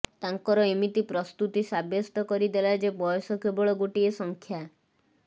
ତାଙ୍କର ଏମିତି ପ୍ରସ୍ତୁତି ସାବ୍ୟସ୍ତ କରିଦେଲା ଯେ ବୟସ କେବଳ ଗାଟିଏ ସଂଖ୍ୟ